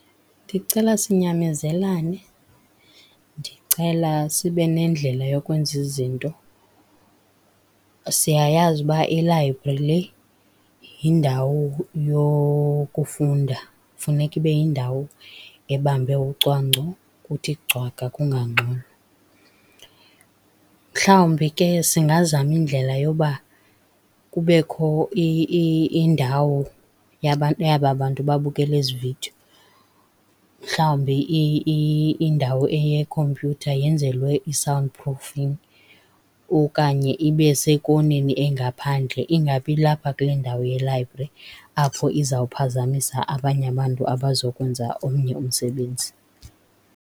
Ndicela sinyamezelane, ndicela sibe nendlela yokwenza izinto. Siyayazi uba i-library le yindawo yokufunda, funeka ibe yindawo ebambe ucwangco, kuthi cwaka kungangxolwa. Mhlawumbi ke singazama indlela yoba kubekho indawo yaba bantu babukela ezi vidiyo, mhlawumbi indawo eyekhompyutha yenzelwe i-sound proofing okanye ibe sekoneni engaphandle, ingabi lapha kule ndawo ye-library, apho izawuphazamisa abanye abantu abazokwenza omnye umsebenzi.